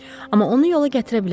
Amma onu yola gətirə bilərəm.